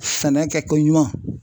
Sɛnɛ kɛko ɲuman.